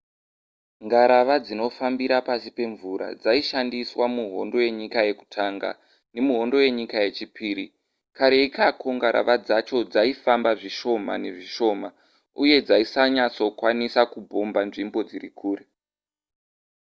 ngarava dzinofambira pasi pemvura dzaishandiswa muhondo yenyika yekutanga nemuhondo yenyika yechipiri kare ikako ngarava dzacho dzaifamba zvishoma nezvishoma uye dzaisanyatsokwanisa kubhomba nzvimbo dziri kure